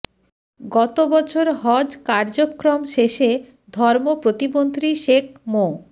গত বছর হজ কার্যক্রম শেষে ধর্ম প্রতিমন্ত্রী শেখ মো